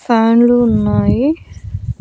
ఫ్యాన్లు ఉన్నాయి.